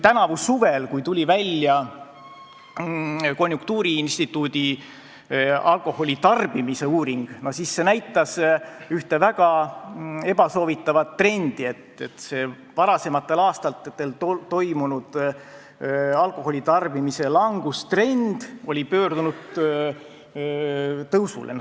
Tänavu suvel, kui tuli välja konjunktuuriinstituudi alkoholitarbimise uuring, siis see näitas ühte väga ebasoovitavat trendi: varasematel aastatel toimunud alkoholitarbimise langustrend oli pöördunud tõusule.